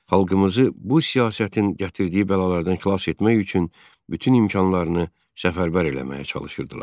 Xalqımızı bu siyasətin gətirdiyi bəlalardan xilas etmək üçün bütün imkanlarını səfərbər eləməyə çalışırdılar.